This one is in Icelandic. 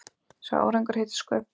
Sá árangur heitir sköpun.